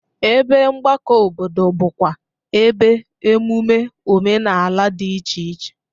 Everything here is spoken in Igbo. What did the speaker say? Ebe mgbakọ obodo bụkwa ebe emume omenala dị iche iche.